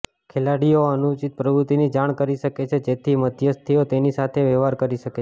ખેલાડીઓ અનુચિત પ્રવૃત્તિની જાણ કરી શકે છે જેથી મધ્યસ્થીઓ તેની સાથે વ્યવહાર કરી શકે